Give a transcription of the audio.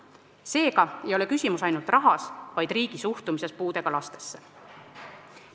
Seega ei ole küsimus ainult rahas, vaid riigi suhtumises puudega lastesse.